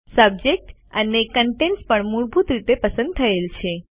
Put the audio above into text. subject અને contents પણ મૂળભૂત રીતે પસંદ થયેલ છે